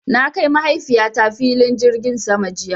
Na kai Mahaifiyata filin jirgin sama jiya.